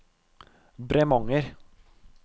Bremanger